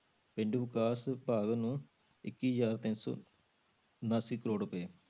ਪੇਂਡੂ ਵਿਕਾਸ ਵਿਭਾਗ ਨੂੰ ਇੱਕੀ ਹਜ਼ਾਰ ਤਿੰਨ ਸੌ ਉਣਾਸੀ ਕਰੌੜ ਰੁਪਏ।